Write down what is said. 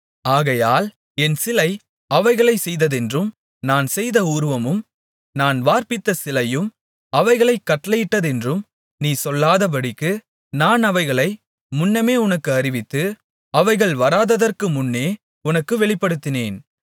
ஆகையால் என் சிலை அவைகளைச் செய்ததென்றும் நான் செய்த உருவமும் நான் வார்ப்பித்த சிலையும் அவைகளைக் கட்டளையிட்டதென்றும் நீ சொல்லாதபடிக்கு நான் அவைகளை முன்னமே உனக்கு அறிவித்து அவைகள் வராததற்கு முன்னே உனக்கு வெளிப்படுத்தினேன்